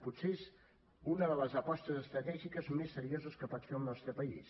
potser és una de les apostes estratègiques més serioses que pot fer el nostre país